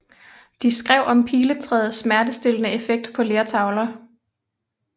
De skrev om piletræets smertestillende effekt på lertavler